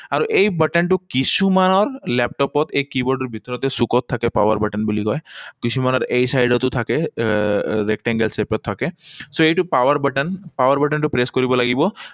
আৰু এই button টো কিছুমানত লেপটপত এই কীবৰ্ডৰ ভিতৰতে চুকত থাকে, power button বুলি কয়। কিছুমানত এই side তো থাকে। আহ Rectangle shape ত থাকে। So, এইটো power button, power button টো press কৰিব লাগিব।